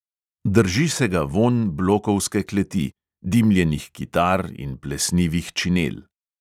Drži se ga vonj blokovske kleti – dimljenih kitar in plesnivih činel.